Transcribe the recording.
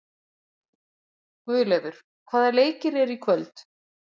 Guðleifur, hvaða leikir eru í kvöld?